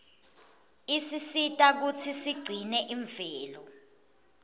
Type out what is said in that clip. isisita kutsi sigcine imvelo